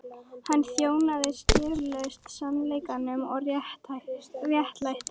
Hann þjónaði skilyrðislaust sannleikanum og réttlætinu.